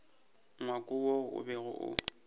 ngwako wo o bego o